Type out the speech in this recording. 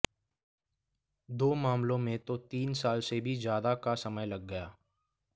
दो मामलों में तो तीन साल से भी ज्यादा का समय लग गया